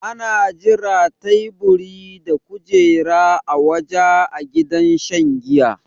Ana jira taiburi da kujera a waja a gidan shan jiya